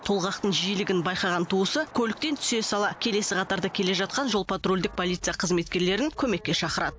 толғақтың жиілігін байқаған туысы көліктен түсе сала келесі қатарда келе жатқан жол патрульдік полиция қызметкерлерін көмекке шақырады